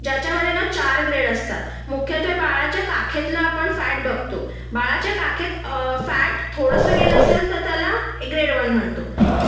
ज्याच्यामध्ये ना चार ग्रेड असतात मुख्यत्वे आपण बाळाच्या काखेतला फॅट बघतो बाळाच्या काखेत फॅट थोडसं गेला असेल तर त्याला ग्रेड वन म्हणतो